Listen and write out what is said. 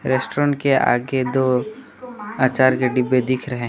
Restaurant के आगे दो अचार के डब्बे दिख रहे हैं।